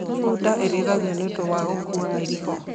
Bunda irĩithagio nĩ ũndũ wa gũkũa mĩrigo.